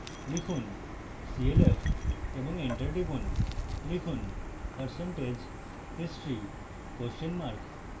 লিখুন clf এবং enter টিপুন